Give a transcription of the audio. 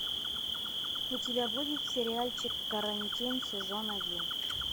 у тебя будет сериальчик карантин сезон один